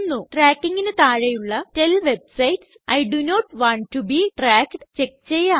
Trackingന് താഴെയുള്ള tell website I do not want to be tracked check ചെയ്യാം